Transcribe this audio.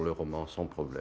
að koma